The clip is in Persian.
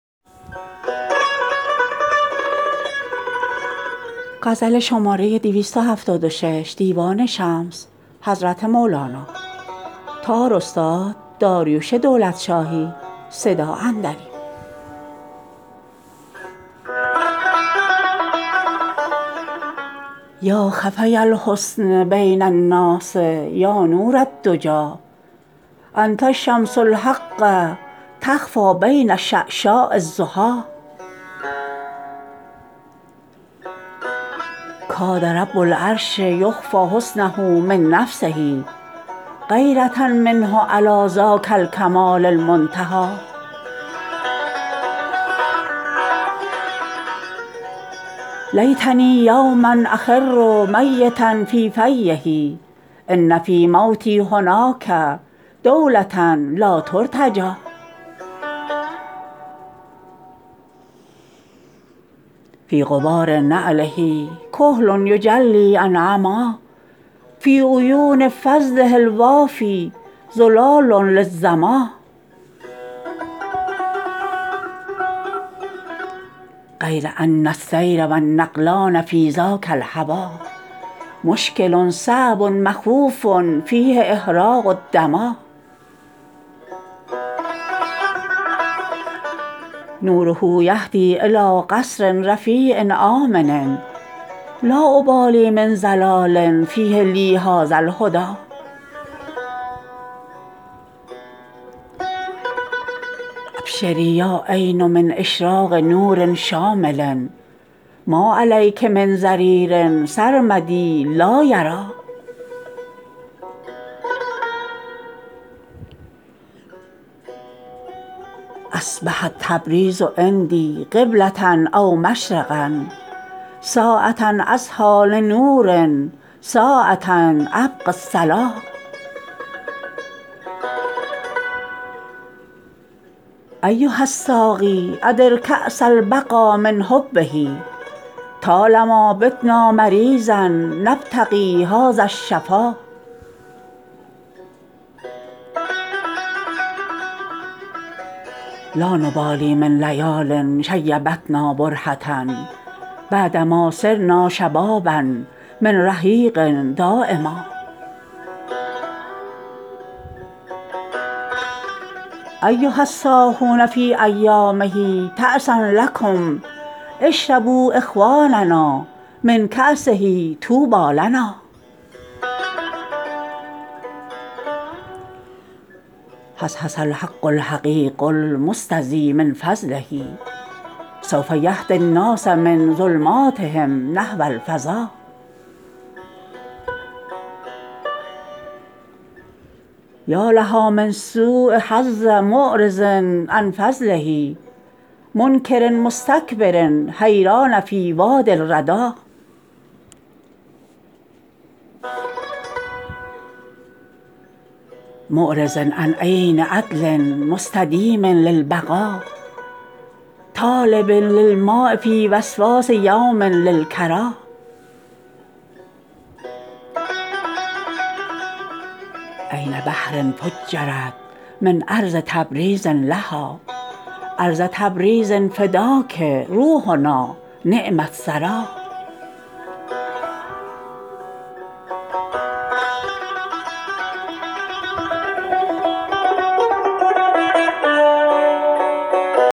یا خفی الحسن بین الناس یا نور الدجی انت شمس الحق تخفی بین شعشاع الضحی کاد رب العرش یخفی حسنه من نفسه غیره منه علی ذاک الکمال المنتهی لیتنی یوما اخر میتا فی فیه ان فی موتی هناک دوله لا ترتجی فی غبار نعله کحل یجلی عن عمی فی عیون فضله الوافی زلال للظما غیر ان السیر و النقلان فی ذاک الهوی مشکل صعب مخوف فیه اهراق الدما نوره یهدی الی قصر رفیع آمن لا ابالی من ضلال فیه لی هذا الهدی ابشری یا عین من اشراق نور شامل ما علیک من ضریر سرمدی لا یری اصبحت تبریز عندی قبله او مشرقا ساعه اضحی لنور ساعه ابغی الصلا ایها الساقی ادر کاس البقا من حبه طال ما بتنا مریضا نبتغی هذا الشفا لا نبالی من لیال شیبتنا برهه بعد ما صرنا شبابا من رحیق دایما ایها الصاحون فی ایامه تعسا لکم اشربوا اخواننا من کاسه طوبی لنا حصحص الحق الحقیق المستضی من فضله سوف یهدی الناس من ظلماتهم نحو الفضا یا لها من سؤ حظ معرض عن فضله منکر مستکبر حیران فی وادی الردی معرض عن عین هدل مستدیم للبقا طالب للماء فی وسواس یوم للکری عین بحر فجرت من ارض تبریز لها ارض تبریز فداک روحنا نعم الثری